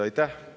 Aitäh!